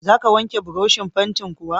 Za ka wanke burushin fantin kuwa?